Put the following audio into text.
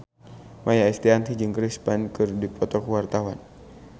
Maia Estianty jeung Chris Pane keur dipoto ku wartawan